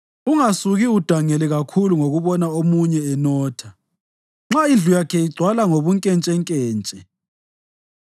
Ungasuki udangale kakhulu ngokubona omunye enotha; nxa indlu yakhe igcwala ngobunkentshenkentshe;